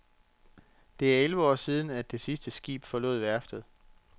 Det er elleve år siden, at det sidste skib forlod værftet.